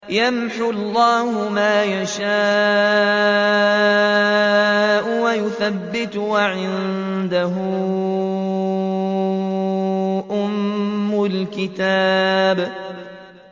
يَمْحُو اللَّهُ مَا يَشَاءُ وَيُثْبِتُ ۖ وَعِندَهُ أُمُّ الْكِتَابِ